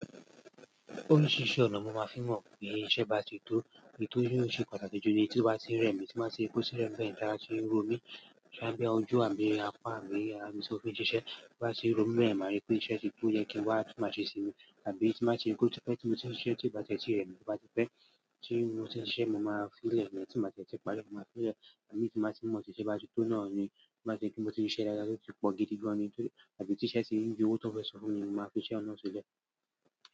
Oríṣiríṣi ọ̀nà mo máa fi mọ̀ pé ìṣe bá ti tó, nítorí ó ṣe pàtàkì jù ni tí ó bá ti rẹ̀mí, tí n bá rí pé otirẹmi beyan tí ara ti ń ro mí, tóbá jẹ́ ojú àbí apá àbí arami tí mó fi ṣe iṣẹ́ bá ti ro mí rẹ̀mí beyen, mari pé iṣẹ́ ti tó yẹ kí wá bí máa ṣe sinmi, àbí tí bá ti rí pẹ́ ó tipẹ́ ti mo ṣiṣẹ́ ti ó bá tẹ́ e tí rẹ̀mí tó bá ti pẹ́ tí mo ti e ṣeẹ́ mo máa fi le ni tínba tie ti parí e, mo máa fi lẹ́ àbí tínba ti n mo ti iṣẹ́ bá ti tó náà ni, tóbá ṣepe mo ti ṣiṣẹ́ dáadáa tówó tipò gidi gan ni tàbí tí iṣẹ́ ti ń yọ owó tó fẹ́ san fún mi, mo máa fi iṣẹ́ oun ná sílẹ̀.